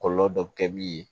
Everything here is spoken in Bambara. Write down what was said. Kɔlɔlɔ dɔ bɛ kɛ min ye